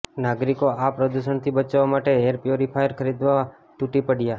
નાગરિકો આ પ્રદૂષણથી બચવા માટે એર પ્યોરીફાયર ખરીદવા તૂટી પડયા